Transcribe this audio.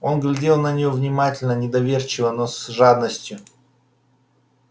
он глядел на неё внимательно недоверчиво но с жадностью